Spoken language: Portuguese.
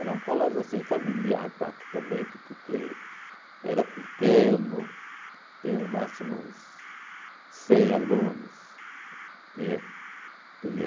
Era um colégio assim familiar praticamente, porque era pequeno, tem ao máximo uns cem alunos, tinha tinha